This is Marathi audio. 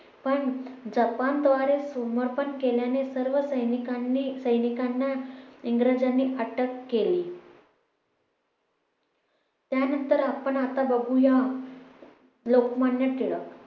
पण जपान द्वारे समर्थन केल्याने सर्व सैनिकांनी सैनिकांना इंग्रजांनी अटक केली त्यानंतर आपण आता बघूया लोकमान्य टिळक